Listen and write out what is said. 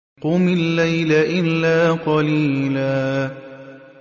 قُمِ اللَّيْلَ إِلَّا قَلِيلًا